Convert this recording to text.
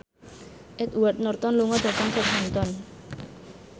Edward Norton lunga dhateng Southampton